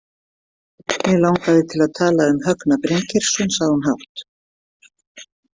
Mig langaði til að tala um Högna Bryngeirsson, sagði hún hátt.